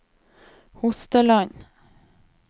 Hosteland